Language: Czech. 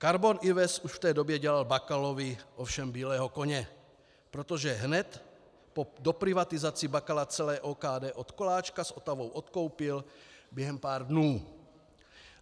Karbon Invest už v té době dělal Bakalovi ovšem bílého koně, protože hned po doprivatizaci Bakala celé OKD od Koláčka s Otavou odkoupil během pár dnů.